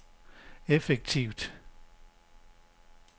effektivt